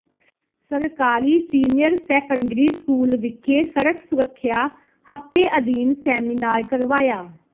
ਸਰਕਾਰੀ senior secondary school ਵਿਖੇ ਸੜਕ ਸੁਰੱਖਿਆ ਹਫਤੇ ਅਧੀਨ ਸੈਮੀਨਾਰ ਕਰਵਾਇਆ